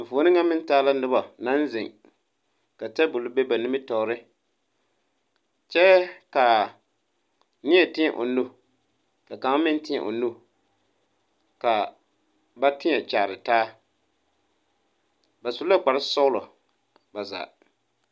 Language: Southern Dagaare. Eŋfuoni na meŋ taa la noba naŋ zeŋ ka tabul be ba nimitoɔre kyɛ ka neɛ teɛ o nu ka kanga meŋ teɛ o nu ka babteɛ kyaare taa. Ba su la kpar sɔglɔ ba zaa.